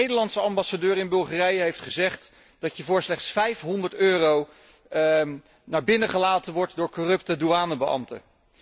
De Nederlandse ambassadeur in Bulgarije heeft gezegd dat je voor slechts 500 euro binnen gelaten wordt door corruptie douanebeambten.